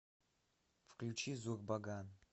включи зурбаган